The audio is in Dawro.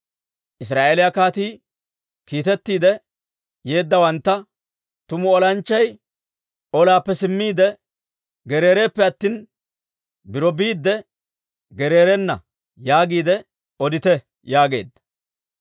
Israa'eeliyaa kaatii kiitettiide yeeddawantta, «Tumu olanchchay olaappe simmiide gereereppe attina, biro biidde gereerena yaagiide odite» yaageedda.